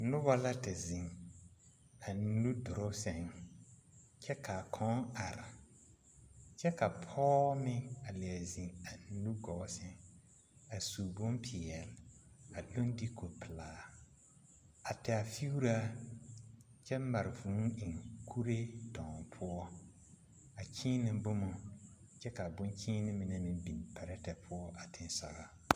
Pɔɔsaraa la a zeŋ kuriwire zu a su kparesɔglaa a leŋ diiko a leŋ boma dɔgle a sakire puoriŋ a ti o gbɛre kaŋa teŋɛ kyɛ nare ko neɛ a saakire gaa kyɛ ka nobɔ meŋ krɔsirɛ a sore.